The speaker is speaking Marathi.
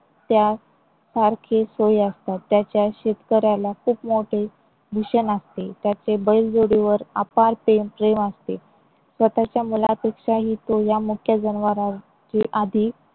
त्यासारखे सोय असतात. त्याच्या शेतकऱ्याला खूप मोठे भूषण असते. त्याचे बैलजोडीवर अपार प्रेम प्रेम असते स्वतःच्या मुलापेक्षाही तो या मुक्या जनावराची आधी.